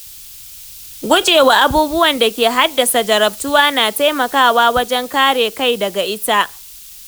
Gujewa abubuwan da ke haddasa jarabtuwa na taimakawa wajen kare kai daga ita.